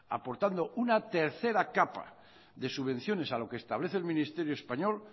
aportando una tercera capa de subvenciones a lo que establece el ministerio español